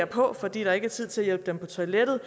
på fordi der ikke er tid til at hjælpe dem på toilettet